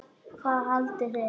Hvað haldið þið!